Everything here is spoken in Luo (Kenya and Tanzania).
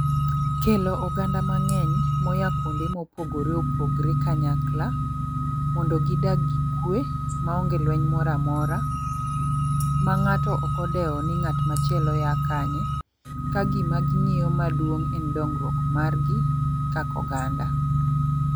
Kelo oganda mang'eny moya kuonde mopogre opogre kanyakla mondo gidag gikwe ma onge lweny moramora ma ng'ato okodewo ni ng'at machielo ya kanye, ka gima ging'iyo maduong' en dongruok mar gi kaka oganda.